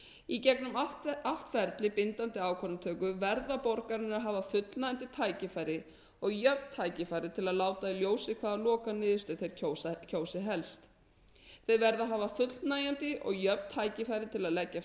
í gegnum allt ferli bindandi ákvarðanatöku verða borgararnir að hafa fullnægjandi tækifæri og jöfn tækifæri til að láta í ljósi hvaða lokaniðurstöðu þeir kjósi helst þeir verða að hafa fullnægjandi og jöfn tækifæri til að leggja fram